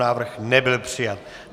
Návrh nebyl přijat.